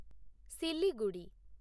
Siliguri